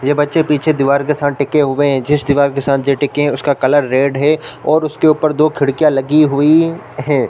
ये बच्चे पीछे दिवार के साथ टिके हुए है जिस दिवार के साथ जे टिके है उसका कलर रेड है और उसके ऊपर दो खिड़कियाँ लगी हुई है।